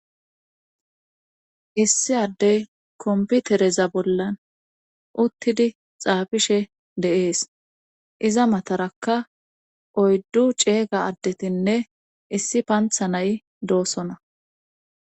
issi addey komputereza bollan uttidi xaafishe dee'es iza matarakka oyddu ceega addetinne issi pantha nay doosona